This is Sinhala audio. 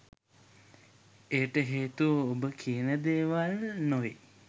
එයට හේතුව ඔබ කියන දේවල් නොවෙයි